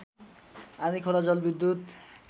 आँधीखोला जलविद्युत